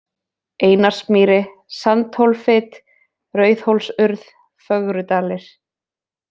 Einarsmýri, Sandhólfit, Rauðhólsurð, Fögrudalir